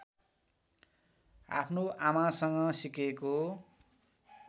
आफ्नो आमासँग सिकेको